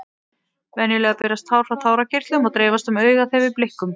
Venjulega berast tár frá tárakirtlum og dreifast um augað þegar við blikkum.